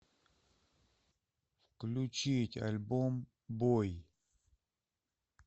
включить альбом бой